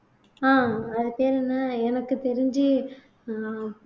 ஆஹ் அது பேரு என்ன எனக்கு தெரிஞ்சு அஹ்